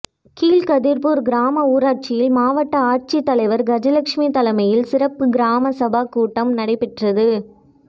கீழ்கதிர்பூர் கிராம ஊராட்சியில் மாவட்ட ஆட்சித்தலைவர் கஜலட்சுமி தலைமையில் சிறப்பு கிராம சபா கூட்டம் நடைபெற்றது